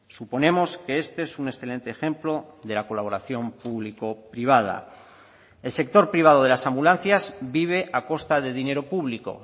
suponemos que este es un excelente ejemplo de la colaboración público privada el sector privado de las ambulancias vive a costa de dinero público